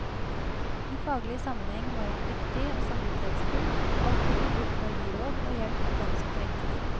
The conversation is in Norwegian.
I faglig sammenheng var han dyktig og samvittighetsfull, alltid villig til å gi råd og hjelp til dem som trengte det.